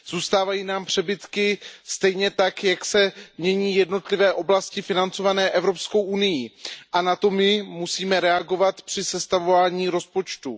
Zůstávají nám přebytky, stejně tak jako se mění jednotlivé oblasti financované Evropskou unií a na to my musíme reagovat při sestavování rozpočtu.